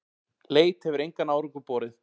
Leit hefur engan árangur borið.